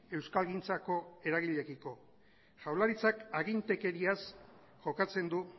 euskalgintzako eragileekiko jaurlaritzak agintekeriaz jokatzen du